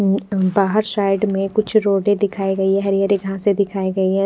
बाहर साइड मे कुछ रोड़े दिखाई गयी है हरी हरी घासे दिखाई गयी है।